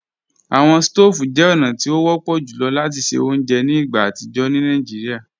Awọn stòóvù jẹ ọ̀na ti o wọ̀pọ̀ jùlọ̀ lati ṣẹ ọ̀unjẹ́ ni igbá atijọ ni Naijíríà.